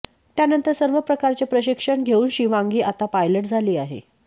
त्यानंतर सर्व प्रकारचे प्रशिक्षण घेऊन शिवांगी आता पायलट झाली आहे